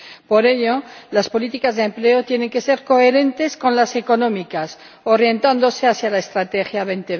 Por ello, las políticas de empleo tienen que ser coherentes con las económicas, orientándose hacia la Estrategia Europa